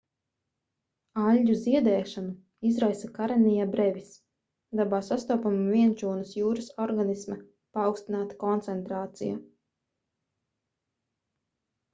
aļģu ziedēšanu izraisa karenia brevis dabā sastopama vienšūnas jūras organisma paaugstināta koncentrācija